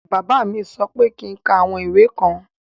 Bàbá mí sọ pé kí ń ká àwọn ìwé kan.